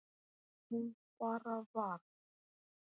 Hún bara varð.